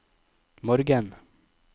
morgen